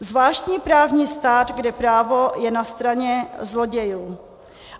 Zvláštní právní stát, kde právo je na straně zlodějů.